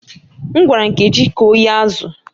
M gwara Nkechi ka o ghee azụ̀